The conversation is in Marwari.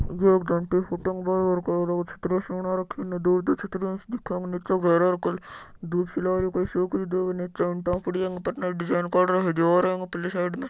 या एक जांटी की फोटो है अ के बाहर बाहर के छत्रिया सी बना राखी है इन दूर दूर छत्रिया सी दिखे दूब सी लागरी है कोई सूख री है दूब निचे ईंटा पड़ी है अ ऊपर डिज़ाइन काड राखी है दिवार है इसके परली साइड में।